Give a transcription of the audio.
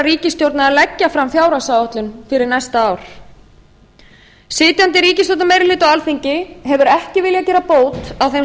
ríkisstjórnar að leggja fram fjárhagsáætlun fyrir næsta ár sitjandi ríkisstjórnarmeirihluti á alþingi hefur ekki viljað gera bót á þeim